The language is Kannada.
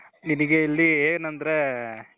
ನಿನಿಗೆ ಇಲ್ಲಿ ಏನಂದ್ರೆ